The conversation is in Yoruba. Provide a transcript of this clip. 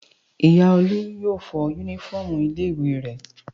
Ìyá Olú yóò fọ únífọ́ọ́mù ilé-ìwé rẹ̀.